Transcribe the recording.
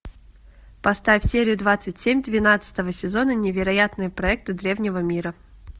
поставь серия двадцать семь двенадцатого сезона невероятные проекты древнего мира